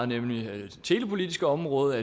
nemlig det telepolitiske område